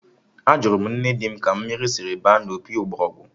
Ajụrụ m nne di m ka mmiri dịrị baa n'ime opi ụgbọgụrụ